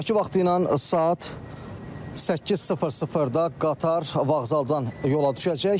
Bakı vaxtı ilə saat 8:00-da qatar vağzaldan yola düşəcək.